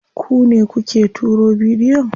Ku ne kuke turo bidiyon?